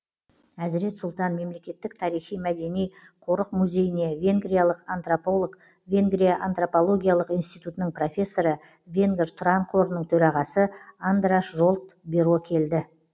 әзірет сұлтан мемлекеттік тарихи мәдени қорық музейіне венгриялық антрополог венгрия антропологиялық институтының профессоры венгр тұран қорының төрағасы андраш жолт биро келді